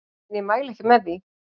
En ég mæli ekki með því.